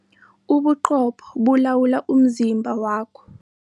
Ubuqopho bulawula umzimba wakho.